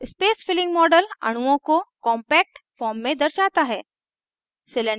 space filling model अणुओं को compact form में दर्शाता है